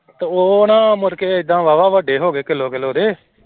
ਤੇ ਉਹ ਨਾ ਮੁੜਕੇ ਏਦਾਂ ਬਾਵਾ ਵੱਡੇ ਹੋ ਗਏ ਕਿੱਲੋ ਕਿੱਲੋ ਦੇ।